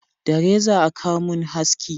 Da reza a Ka mun haski